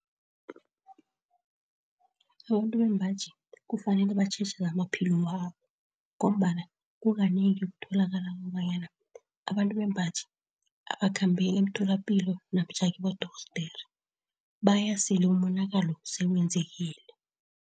Abantu bembaji kufanele batjheje zamaphilo wabo, ngombana kukanengi kutholakala kobanyana abantu bembaji abakhambeli emtholapilo namtjhana kibodorhodere, bayasele umonakalo sewenzekile.